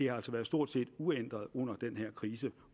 har været stort set uændrede under den her krise